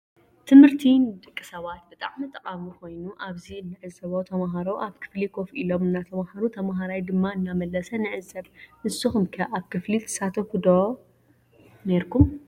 ትምህርቲ ንደቂ ስባት ብጣዕሚ ጠቃሚ ኮይኑ አብዚ እንዕዞቦ ተምሃሮ አብ ክፍሊ ከፍ ኢሎም እናተምሃሩ ተምሃራይ ድማ እናመለስ ንዕዘብ ።ንስኩም ከ አብ ክፍሊ ትሳተፉ ነይርኩም ዶ ?